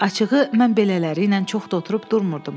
Açığı, mən belələrilə çox da oturub durmurdum.